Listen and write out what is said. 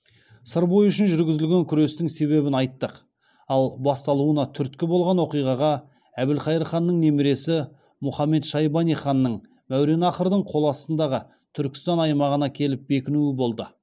сыр бойы үшін жүргізілген күрестің себебін айттық ал басталуына түрткі болған оқиғаға әбілқайыр ханның немересі мұхамед шайбани ханның мәуереннахрдың қол астындағы түркістан аймағына келіп бекінуі болды